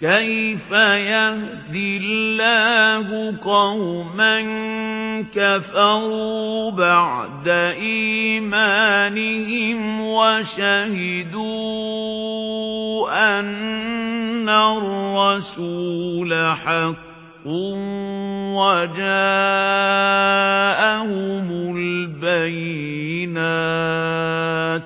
كَيْفَ يَهْدِي اللَّهُ قَوْمًا كَفَرُوا بَعْدَ إِيمَانِهِمْ وَشَهِدُوا أَنَّ الرَّسُولَ حَقٌّ وَجَاءَهُمُ الْبَيِّنَاتُ ۚ